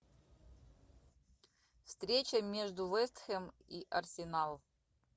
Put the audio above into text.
встреча между вест хэм и арсенал